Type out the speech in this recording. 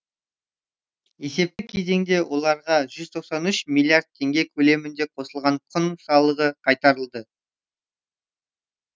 есепті кезеңде оларға жүз тоқсан үш миллиард теңге көлемінде қосылған құн салығы қайтарылды